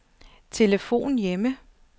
telefon hjemme